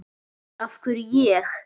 Af hverju ég?